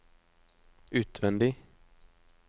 utvendig